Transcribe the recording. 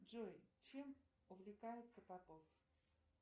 джой чем увлекается попов